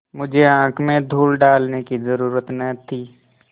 मुझे आँख में धूल डालने की जरुरत न थी